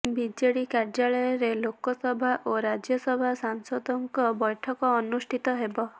BJD କାର୍ଯ୍ୟାଳୟରେ ଲୋକସଭା ଓ ରାଜ୍ୟସଭା ସାଂସଦଙ୍କ ବୈଠକ ଅନୁଷ୍ଠିତ ହେବ